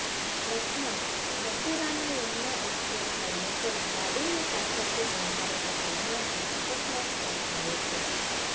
લખનૌઃ મથુરાના Yamuna express highway પર ગાડીને પાછળથી ટેન્કરે ટક્કર મારતા અકસ્માત સર્જાયો છે